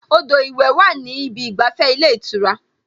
Odò ìwẹ̀ wà ní ìbi ìgbàfẹ́ ilé ìtura